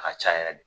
A ka ca yɛrɛ de